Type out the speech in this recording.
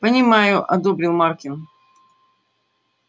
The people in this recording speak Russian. понимаю одобрил маркин